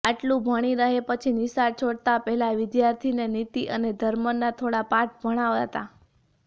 આટલું ભણી રહે પછી નિશાળ છોડતાં પહેલાં વિદ્યાર્થીને નીતિ અને ધર્મના થોડા પાઠ ભણાવાતા